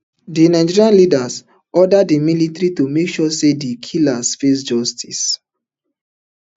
di nigerian leader order di military to make sure say di killers face justice